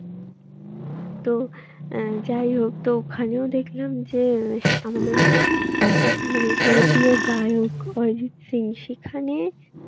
তো আহ যাই হোক তো ওখানেও দেখলাম যে আমাদের খুবই মানে ওরফে গায়ক অরিজিৎ সিং সেখানে